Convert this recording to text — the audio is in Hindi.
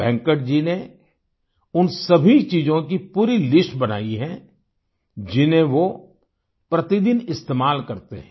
वेंकट जी ने उन सभी चीजों की पूरी लिस्ट बनायी है जिन्हें वो प्रतिदिन इस्तेमाल करते हैं